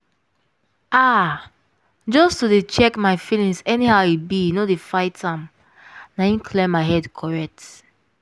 ah! just to dey check my feelings anyhow e be no dey fight am - na im clear my head correct.